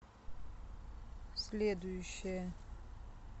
следующая